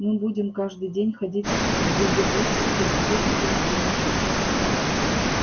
мы будем каждый день ходить в визивокс и в цирк и на пляж